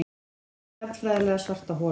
Inní stjarnfræðilega svarta holu.